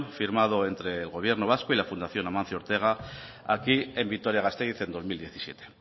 firmado entre el gobierno vasco y la fundación amancio ortega aquí en vitoria gasteiz en dos mil diecisiete